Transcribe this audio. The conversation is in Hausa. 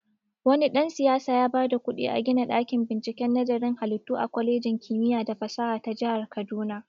Wani dan-siyasa yaba da kuɗi a gina ɗakin binciken nazarin halittu a kwalejin kimiya da fasaha ta jahar kaduna.